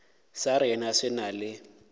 sa rena se na le